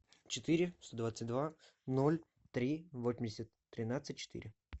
четыре сто двадцать два ноль три восемьдесят тринадцать четыре